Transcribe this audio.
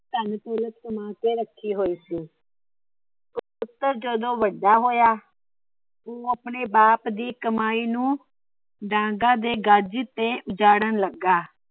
ਧੰਨ ਦੌਲਤ ਕਮਾ ਕੇ ਰੱਖੀ ਹੋਈ ਸੀ। ਤੇ ਪੁੱਤਰ ਜਦੋ ਵੱਡਾ ਹੋਇਆ ਉਹਨੇ ਆਪਣੇ ਬਾਪ ਦੀ ਕਮਾਈ ਨੂੰ ਡਾਂਗਾ ਦੇ ਗਜ ਤੇ ਉਜਾੜਣ ਲੱਗਾ।